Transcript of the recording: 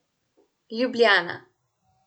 Ljubljana.